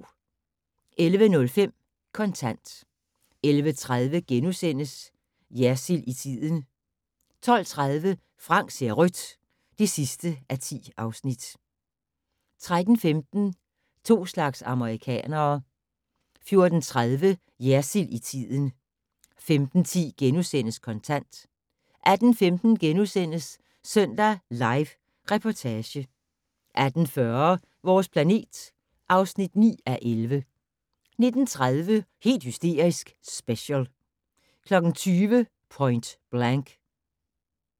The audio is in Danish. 11:05: Kontant 11:30: Jersild i tiden * 12:30: Frank ser rødt (10:10) 13:15: To slags amerikanere 14:30: Jersild i tiden 15:10: Kontant * 18:15: Søndag Live Reportage * 18:40: Vores planet (9:11) 19:30: Helt hysterisk - special 20:00: Point Blank